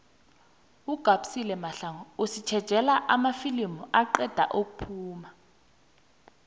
ugabisile mahlangu usitjejela amafilimu aqeda ukuphuma